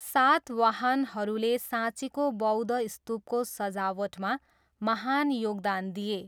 सातवाहनहरूले साँचीको बौद्ध स्तूपको सजावटमा महान योगदान दिए।